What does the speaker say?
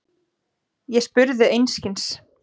Ég spurði einskis.